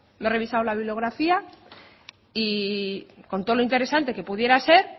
me he revisado la bibliografía y con todo lo interesante que pudiera ser